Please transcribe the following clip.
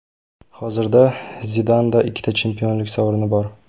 Hozirda Zidanda ikkita chempionlik sovrini bor.